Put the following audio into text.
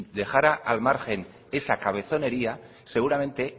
dejara al margen esa cabezonería seguramente